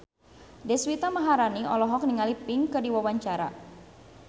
Deswita Maharani olohok ningali Pink keur diwawancara